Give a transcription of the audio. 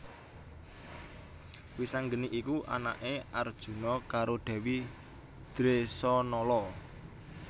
Wisanggeni iku anaké Arjuna karo Dèwi Dresanala